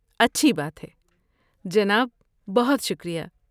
اچھی بات ہے، جناب! بہت شکریہ!